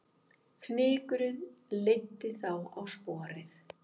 Fnykurinn leiddi þá á sporið